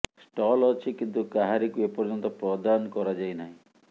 stall ଅଛି କିନ୍ତୁ କାହାରିକୁ ଏ ପର୍ଯ୍ୟନ୍ତ ପ୍ରଦାନ କରାଯାଇ ନାହିଁ